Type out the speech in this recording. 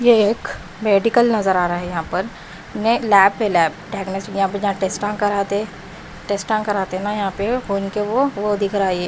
ये एक मेडिकल नजर आ रहा है यहाँ पर लैब प लैब य टेस्ट कराते टेस्ट कराते ना यहाँ पे फोन के वो वो दिख रहा है ये।